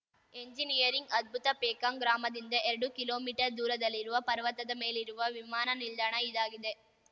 engineering ಅದ್ಭುತ ಪೇಕಾಂಗ್‌ ಗ್ರಾಮದಿಂದ ಎರಡು ಕಿಲೋಮೀಟರ್ ದೂರದಲ್ಲಿರುವ ಪರ್ವತದ ಮೇಲಿರುವ ವಿಮಾನ ನಿಲ್ದಾಣ ಇದಾಗಿದೆ